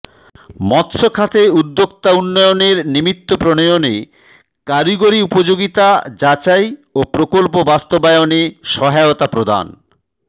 মৎস্য খাতে উদ্যোক্তা উন্নয়নের নিমিত্ত প্রণয়ণে কারিগরী উপযোগিতা যাচাই ও প্রকল্প বাসত্মবায়নে সহায়তা প্রদান